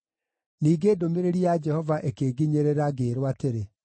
Ningĩ ndũmĩrĩri ya Jehova ĩkĩnginyĩrĩra ngĩĩrwo atĩrĩ: